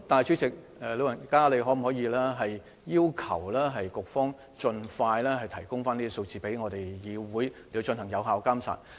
主席，你可否要求局方盡快提供有關數字，讓議會進行有效監管。